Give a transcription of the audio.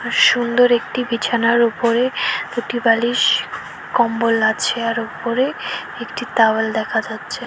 সুন্দর একটি বিছানার ওপরে দুটি বালিশ কম্বল আছে আর ওপরে একটি তাওয়েল দেখা যাচ্ছে।